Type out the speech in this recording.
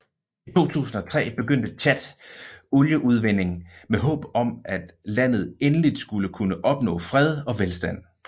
I 2003 begyndte Tchad olieudvinding med håb om at landet endeligt skulle kunne opnå fred og velstand